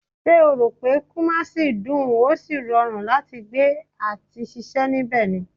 Ṣé o ròpé kumasi dùn, ó sì rọrùn láti gbé àti ṣiṣẹ́ nibẹ ni?